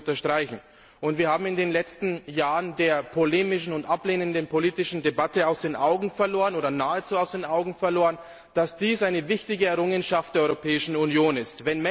Das möchte ich unterstreichen. Wir haben in den letzten Jahren der polemischen und ablehnenden politischen Debatte nahezu aus den Augen verloren, dass dies eine wichtige Errungenschaft der Europäischen Union ist.